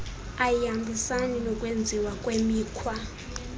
ayihambisani nokwenziwa kwemikhwa